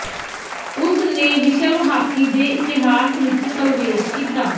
ਉਸ ਨੇ ਵਿਸ਼ਵ ਹਾਕੀ ਦੇ ਇਤਿਹਾਸ ਵਿਚ ਪ੍ਰਵੇਸ਼ ਕੀਤਾ